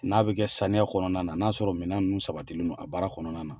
N'a bɛ kɛ samiya kɔnɔna na, n'a sɔrɔ minɛn ninnu sabatinen don a baara kɔnɔna na.